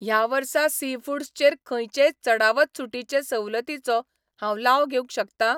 ह्या वर्सा सीफूडस चेर खंयचेय चडावत सूटीचे सवलतीचो हांव लाव घेवंक शकता?